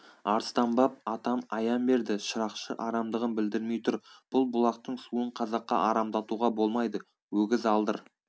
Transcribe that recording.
арыстанбап атам аян берді шырақшы арамдығын білдірмей тұр бұл бұлақтың суын қазаққа арамдатуға болмайды өгіз алдыр